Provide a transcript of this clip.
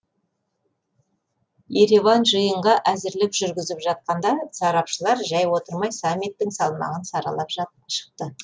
ереван жиынға әзірлік жүргізіп жатқанда сарапшылар жай отырмай саммиттің салмағын саралап шықты